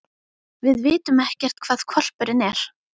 Við vitum ekkert hvar hvolpurinn er.